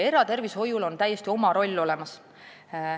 Eratervishoiuasutustel on oma roll täiesti olemas.